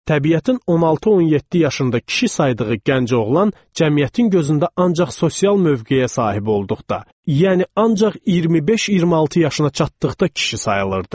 Təbiətin 16-17 yaşında kişi saydığı gənc oğlan cəmiyyətin gözündə ancaq sosial mövqeyə sahib olduqda, yəni ancaq 25-26 yaşına çatdıqda kişi sayılırdı.